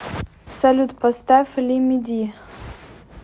салют поставь лимиди